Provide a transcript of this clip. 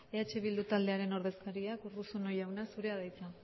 eh bildu taldearen ordezkariak urruzuno jauna zurea da hitza